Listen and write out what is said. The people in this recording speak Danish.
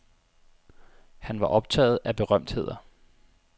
Han var optaget af berømtheder.